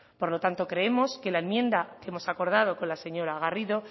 por lo tanto creemos que la enmienda que hemos acordado con la señora garrido